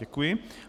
Děkuji.